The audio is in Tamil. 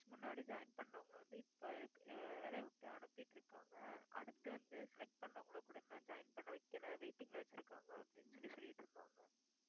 முன்னாடி join பண்ணவங்க வந்து இப்ப அஹ் வேலையை விட்டு அனுப்பிட்டு இருக்காங்க அடுத்து வந்து select பண்ணவங்களை கூட இன்னும் join பண்ண வைக்கல waiting ல வச்சிருக்காங்க அப்படின்னு சொல்லி சொல்லிட்டு இருந்தாங்க